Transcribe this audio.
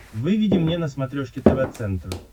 выведи мне на смотрешке тв центр